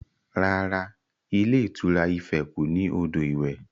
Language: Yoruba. Rárá, ilé ìtura Ife kò ní odò iwẹ̀